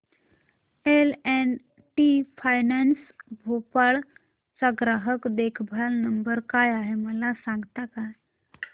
L and T finance Bhopal चा ग्राहक देखभाल नंबर काय आहे मला सांगता का